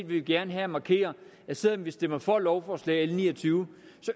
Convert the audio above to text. vi gerne her markere at selv om vi stemmer for lovforslag nummer l ni og tyve